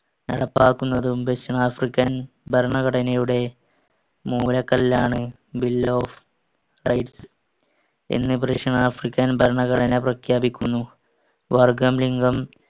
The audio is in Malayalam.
നടപ്പാക്കുന്നതും ദക്ഷിണാഫ്രിക്കൻ ഭരണഘടനയുടെ മൂലക്കല്ലാണ് Bill of Rights എന്ന് ദക്ഷിണാഫ്രിക്കൻ ഭരണഘടന പ്രഖ്യാപിക്കുന്നു. വര്‍ഗ്ഗം, ലിംഗം,